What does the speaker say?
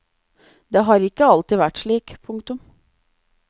Det har ikke alltid vært slik. punktum